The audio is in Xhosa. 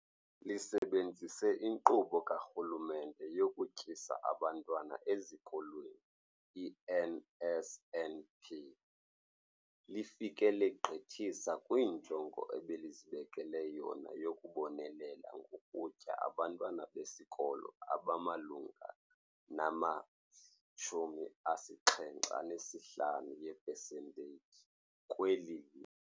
Lisebenzise iNkqubo kaRhulumente yokuTyisa Abantwana Ezikolweni, i-NSNP, lifike legqithisa kwinjongo ebelizibekele yona yokubonelela ngokutya abantwana besikolo abamalunga nama-75 epesenteyiji kweli.